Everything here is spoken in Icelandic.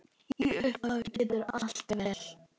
Í upphafi gengur allt vel.